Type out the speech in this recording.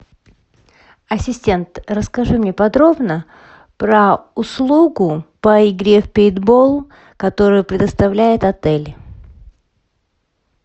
ассистент расскажи мне подробно про услугу по игре в пейнтбол которую предоставляет отель